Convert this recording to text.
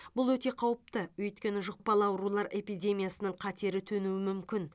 бұл өте қауіпті өйткені жұқпалы аурулар эпидемиясының қатері төнуі мүмкін